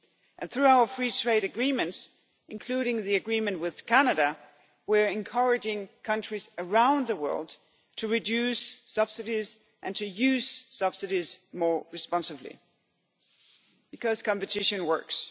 do. And through our free trade agreements, including the agreement with Canada, we are encouraging countries around the world to reduce subsidies and to use subsidies more responsibly because competition works.